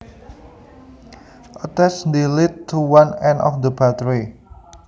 Attach this lead to one end of the battery